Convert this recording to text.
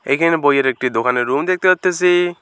এখানে বইয়ের একটি দোকানের রুম দেখতে পারতাসি।